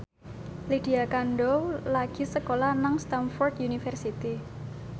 Lydia Kandou lagi sekolah nang Stamford University